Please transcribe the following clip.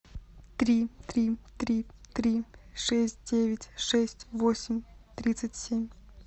три три три три шесть девять шесть восемь тридцать семь